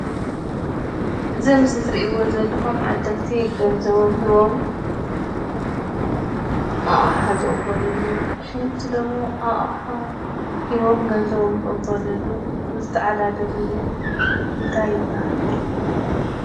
እዚ ኣብ ምስሊ እትሪእዎ ዘለኹም ዓደግቲ ገንዘቦም ሂቦም ኣቕሓ ዝቕበልሉ ኣቑሑ እዚ ደሞ ኣቕሓ ሂቦም ገንዘቦም ዝቕበልሉ ዝተዓዳደግሉ እንታይ ይባሃል፡፡